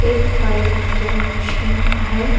एक fire engine machine है।